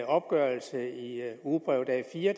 opgørelse i ugebrevet a4